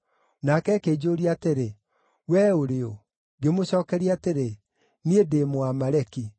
“Nake akĩnjũũria atĩrĩ, ‘Wee ũrĩ ũ?’ “Ngĩmũcookeria atĩrĩ, ‘Niĩ ndĩ Mũamaleki.’